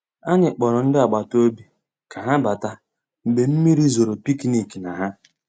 Ànyị́ kpọ̀rọ́ ndị́ àgbàtà òbí ká há batà mgbeé mmírí zòró pìkníkì ná há.